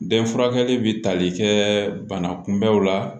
Den furakɛli bɛ tali kɛ bana kunbɛnw la